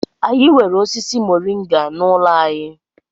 Anyị nwere osisi mọrịnga n'ụlọ anyị.